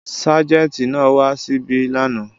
Ságẹ́ńtì náà wà ṣíbí lánàá.